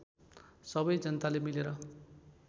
सबै जनताले मिलेर